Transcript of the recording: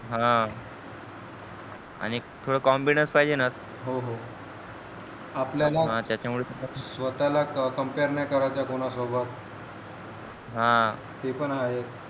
हा आणि थोडा confidence पाहिजे न हो हो आपल्याला स्वतः camper नाही करायचंय कोना सोबत हा ते पण आहे